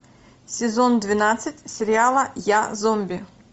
сезон двенадцать сериала я зомби